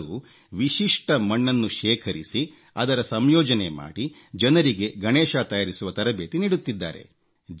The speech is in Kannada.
ಅವರು ವಿಶಿಷ್ಟ ಮಣ್ಣನ್ನು ಶೇಖರಿಸಿ ಅದರ ಸಂಯೋಜನೆ ಮಾಡಿ ಜನರಿಗೆ ಗಣೇಶ ತಯಾರಿಸುವ ತರಬೇತಿ ನೀಡುತ್ತಿದ್ದಾರೆ